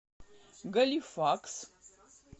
галифакс